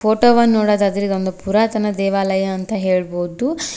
Photo ವನ್ನು ನೋಡೋದಾದ್ರೆ ಇದು ಒಂದು ಪುರಾತನ ದೇವಾಲಯ ಅಂತ ಹೇಳಬಹುದು.